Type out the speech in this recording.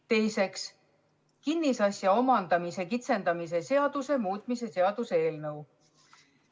Teiseks, kinnisasja omandamise kitsendamise seaduse muutmise seaduse eelnõu.